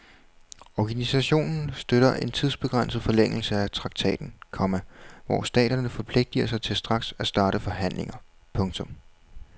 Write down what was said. Organisationen støtter en tidsbegrænset forlængelse af traktaten, komma hvor staterne forpligter sig til straks at starte forhandlinger. punktum